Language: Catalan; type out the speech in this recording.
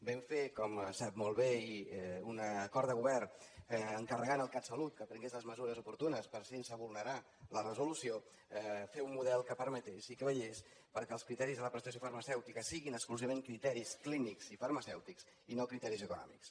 vam fer com sap molt bé un acord de govern encarregant al catsalut que prengués les mesures oportunes per sense vulnerar la resolució fer un model que permetés i que vetllés perquè els criteris de la prestació farmacèutica siguin exclusivament criteris clínics i farmacèutics i no criteris econòmics